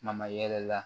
Ɲama yɛrɛ la